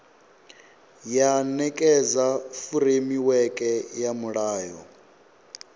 ya nekedza furemiweke ya mulayo